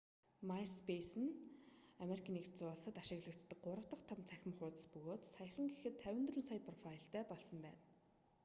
маиспейсе нь ану-д ашиглагддаг 3 дахь том цахим хуудас бөгөөд саяхан гэхэд 54 сая профайлтай болсон байна